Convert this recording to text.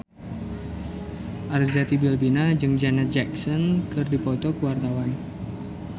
Arzetti Bilbina jeung Janet Jackson keur dipoto ku wartawan